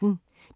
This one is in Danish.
DR P1